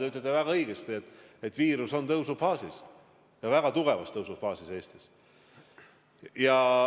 Te ütlete väga õigesti, et viirus on tõusufaasis, Eestis väga tugevas tõusufaasis.